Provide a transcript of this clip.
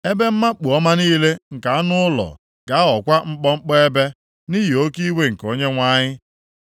Ebe mmakpu ọma niile nke anụ ụlọ ga-aghọkwa mkpọmkpọ ebe, nʼihi oke iwe nke Onyenwe anyị.